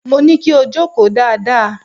Mo ní kí o jókòó dáadáa!